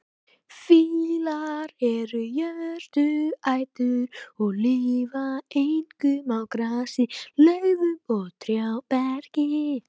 Fílar eru jurtaætur og lifa einkum á grasi, laufum og trjáberki.